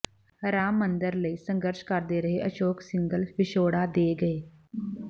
ਰਾਮ ਮੰਦਰ ਲਈ ਸੰਘਰਸ਼ ਕਰਦੇ ਰਹੇ ਅਸ਼ੋਕ ਸਿੰਘਲ ਵਿਛੋੜਾ ਦੇ ਗਏ